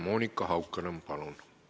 Monika Haukanõmm, palun!